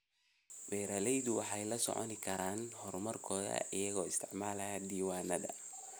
Beeraleydu waxay la socon karaan horumarkooda iyagoo isticmaalaya diiwaannada.